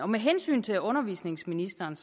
med hensyn til undervisningsministeren